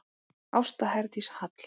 Ásta Herdís Hall.